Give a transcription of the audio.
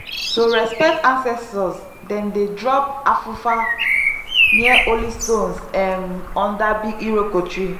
to respect ancestors dem dey drop afufa near holy stones um under big iroko tree.